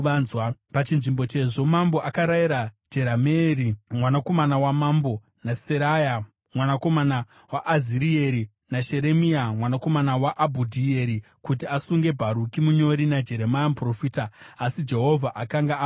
Pachinzvimbo chezvo, mambo akarayira Jerameeri, mwanakomana wamambo, naSeraya mwanakomana waAzirieri naSheremia mwanakomana waAbhudhieri kuti asunge Bharuki munyori naJeremia muprofita. Asi Jehovha akanga avaviga.